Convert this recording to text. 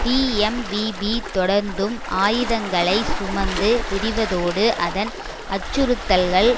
TMVP தொடர்ந்தும் ஆயுதங்களை சுமந்து திரிவதோடு அதன் அச்சுறுத்தல்கள்